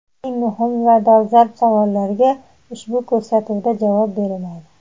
Eng muhim va dolzarb savollarga ushbu ko‘rsatuvda javob beriladi.